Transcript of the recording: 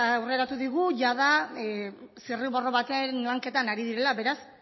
aurreratu digu jada zirriborro baten lanketan ari direla beraz